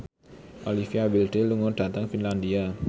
Olivia Wilde lunga dhateng Finlandia